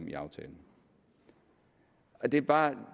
i aftalen det er bare